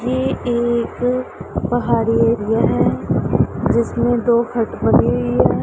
ये एक पहाड़ी एरिया है जिसमें दो हट बनी हुई है।